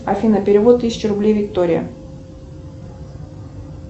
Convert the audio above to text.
афина перевод тысяча рублей виктория